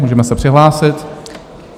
Můžeme se přihlásit.